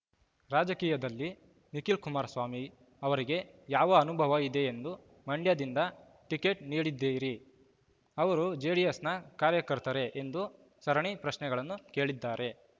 ರಾಜಕೀಯದಲ್ಲಿ ನಿಖಿಲ್ ಕುಮಾರಸ್ವಾಮಿ ಅವರಿಗೆ ಯಾವ ಅನುಭವ ಇದೆ ಎಂದು ಮಂಡ್ಯದಿಂದ ಟಿಕೆಟ್ ನೀಡಿದ್ದೀರಿ ಅವರು ಜೆಡಿಎಸ್‌ನ ಕಾರ್ಯಕರ್ತರೆ ಎಂದು ಸರಣಿ ಪ್ರಶ್ನೆಗಳನ್ನು ಕೇಳಿದ್ದಾರೆ